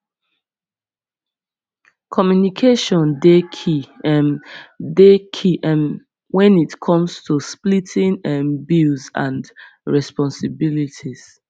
communication dey key um dey key um wen it come tu splitting um bills and responsibilities